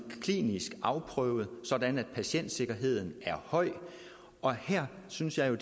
klinisk afprøvet sådan at patientsikkerheden er høj og her synes jeg jo